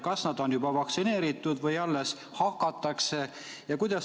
Kas nad on juba vaktsineeritud või alles hakatakse neid vaktsineerima?